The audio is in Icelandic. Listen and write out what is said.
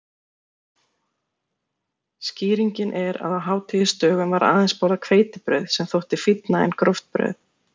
Skýringin er að á hátíðisdögum var aðeins borðað hveitibrauð sem þótti fínna en gróft brauð.